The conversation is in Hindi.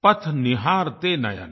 पथ निहारते नयन